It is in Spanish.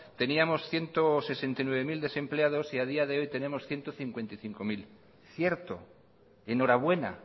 teníamos ciento sesenta y nueve mil desempleados y a día de hoy tenemos ciento cincuenta y cinco mil cierto enhorabuena